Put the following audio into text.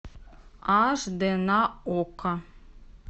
аш д на окко